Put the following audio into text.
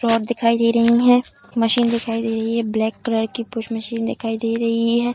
Road दिखाई दे रही हैं मशीन दिखाई दे रही है ब्लैक कलर की पुश मशीन दिखाई दे रही है।